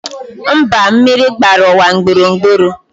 Mba, mmiri gbara ụwa gburugburu